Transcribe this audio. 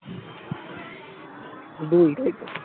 দুই তাই তো